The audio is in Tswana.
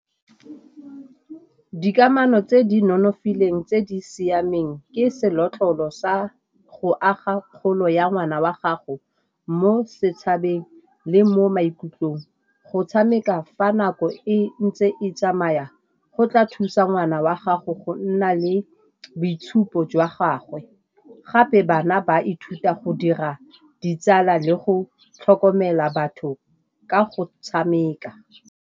Ke dikamano tse di nonofileng tse di siameng, ke senotlolo sa go aga kgolo ya ngwana wa gago mo setšhabeng le mo maikutlong go tshameka. Fa nako e ntse e tsamaya go tla thusa ngwana wa gago go nna le boitshupo jwa gagwe, gape bana ba ithuta go dira ditsala le go tlhokomela batho ka go tshameka.